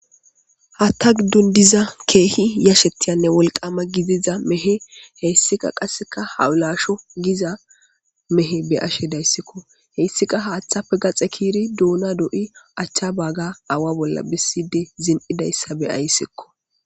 hatta giddon diza keehi yashetyanne wolqama gidiza mehe heyssika qasseka hawulasho giza mehe be ashe dayssikko heyssika haaththafe gaxe kiiri duuna do7i achcha baaga awa bolla besside zin7idayssa beyayssikko